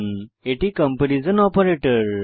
এটি comparison comparison operator